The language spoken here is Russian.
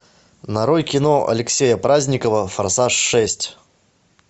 нарой кино алексея праздникова форсаж шесть